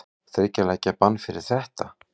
Þriggja leikja bann fyrir þetta?